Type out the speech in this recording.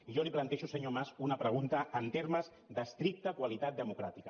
i jo li plantejo senyor mas una pregunta en termes d’estricta qualitat democràtica